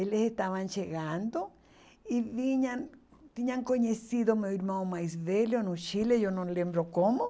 Eles estavam chegando e vinham... Tinham conhecido meu irmão mais velho no Chile, eu não lembro como.